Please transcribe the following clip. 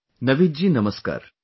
Naveed ji namaskar